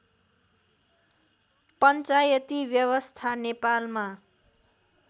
पञ्चायती व्यवस्था नेपालमा